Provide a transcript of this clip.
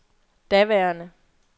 daværende